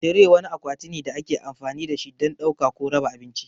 Tire wani akwati ne da ake amfani da shi don ɗauka ko raba abinci.